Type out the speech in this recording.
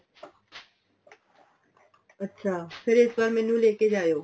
ਅੱਛਾ ਫ਼ੇਰ ਇਸ ਵਾਰ ਮੈਨੂੰ ਲੈਕੇ ਜਾਈਓ